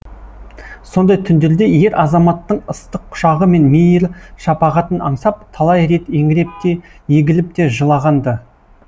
сондай түндерде ер азаматтың ыстық құшағы мен мейір шапағатын аңсап талай рет еңіреп те егіліп те жылаған ды